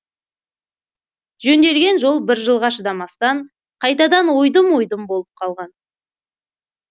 жөнделген жол бір жылға шыдамастан қайтадан ойдым ойдым болып қалған